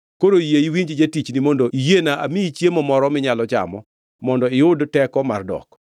Koro yie iwinj jatichni mondo iyiena amiyi chiemo moro minyalo chamo mondo iyud teko mar dok.”